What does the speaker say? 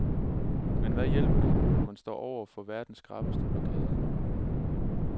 Men hvad hjælper det når man står over for verdens skrappeste blokade.